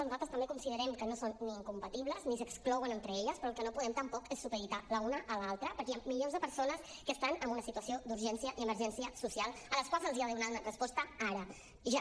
nosaltres també considerem que no són ni incompatibles ni s’exclouen entre elles però el que no podem tampoc és supeditar l’una a l’altra perquè hi ha milions de persones que estan en una situació d’urgència i emergència social a les quals se’ls ha de donar una resposta ara ja